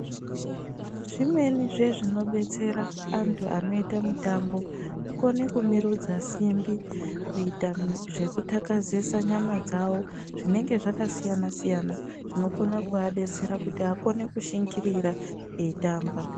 Zvimwenizve zvinobetsera antu anoita mitambo kukone kumirudza simbi, kuita zvekuthakazisa nyama dzawo zvinenge zvakasiyana -siyana zvinoka kudetsera kuti akone kushingirira eitamba.